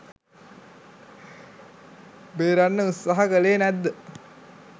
බේරන්න උත්සාහ කළේ නැද්ද?